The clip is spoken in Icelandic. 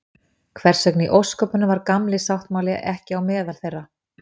Hvers vegna í ósköpunum var Gamli sáttmáli ekki á meðal þeirra?